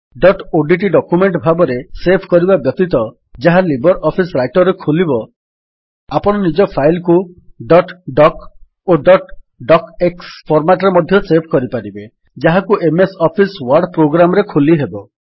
dot ODT document ଭାବରେ save କରିବା ବ୍ୟତୀତ ଯାହା ଲିବର୍ ଅଫିସ୍ ରାଇଟର୍ ରେ ଖୋଲିବ ଆପଣ ନିଜ ଫାଇଲ୍ କୁ ଡଟ୍ ଡକ୍ ଓ ଡଟ୍ ଡକ୍ ଏକ୍ସ ଫର୍ମାଟ୍ ରେ ମଧ୍ୟ ସେଭ୍ କରିପାରିବେ ଯାହାକୁ ଏମଏସ୍ ଅଫିସ୍ ୱର୍ଡ ପ୍ରୋଗ୍ରାମ୍ ରେ ଖୋଲିହେବ